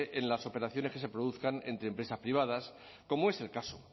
en las operaciones que se produzcan entre empresas privadas como es el caso